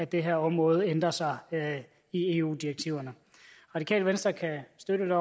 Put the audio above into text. det her område ændrer sig i eu direktiverne radikale venstre kan støtte